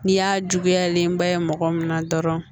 N'i y'a juguyalenba ye mɔgɔ min na dɔrɔn